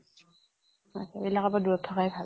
এইবিলাকৰ পৰা দূৰত থকায়ে ভাল।